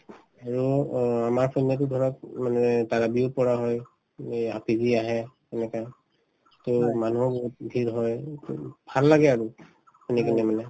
আৰু অ আমাৰফালেতো ধৰক উম মানে কৰা হয় আহে তেনেকে to মানুহক ভিৰ হয় ভাল লাগে আৰু মানে